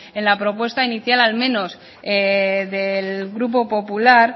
en la propuesta inicial al menos del grupo popular